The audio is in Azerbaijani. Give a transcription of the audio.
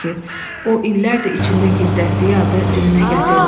O, illərdir içində gizlətdiyi adı dilinə gətirdi.